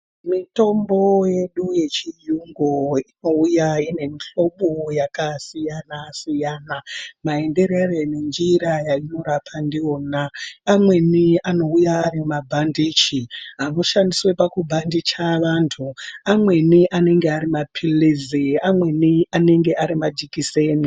Mitombo yedu yechiyungu inouya ine mihlobo yakasiyana-siyana, maenderere nenjira yainorapa ndiyona. Amweni anouya ari mabhandichi, anoshandiswe pakubhandicha vantu, amweni anenge ari maphilizi, amweni anenge ari majikiseni.